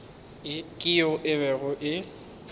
ke yeo e bego e